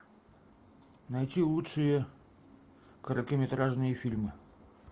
найти лучшие короткометражные фильмы